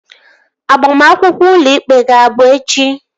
Agbamakwụkwọ ụlọ ikpe gị abụ echi?